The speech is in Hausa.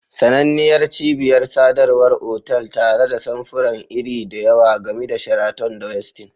Sananniyar cibiyar sadarwar otal tare da samfuran iri da yawa, gami da Sheraton da Westin.